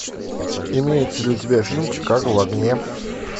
имеется ли у тебя фильм чикаго в огне